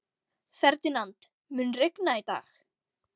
Ferdinand, mun rigna í dag?